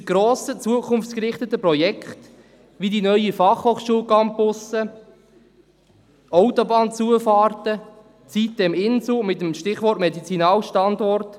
Unsere grossen, zukunftsgerichteten Projekte wie die neuen Fachhochschul-Campusse, Autobahnzufahrten, die Siteminsel mit dem Stichwort Medizinalstandort: